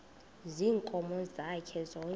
ziinkomo zakhe zonke